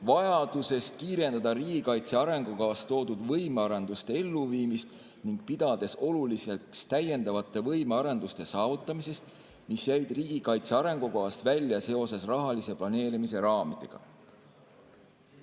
vajadusest kiirendada riigikaitse arengukavas toodud võimearenduste ellu viimist ning pidades oluliseks täiendavate võimearenduste saavutamist, mis jäid riigikaitsearengukavast välja seoses rahalise planeerimise raamidega.